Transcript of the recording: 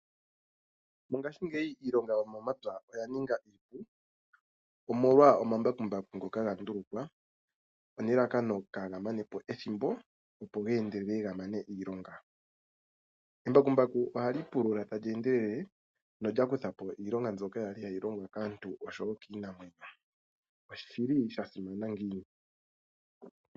Mongaashi ngeyi iilonga yomomapya oya ninga iipu, omolwa omambakumbaku ngoka gandulukwa nelalakano ka gamanepo ethimbo opo geendelele gamane iilonga. Embakumbaku ohali pulula talyeendele nolyakuthapo iilonga yokupulula ndjoka yali hayi longwa kaantu no kiinamwenyo.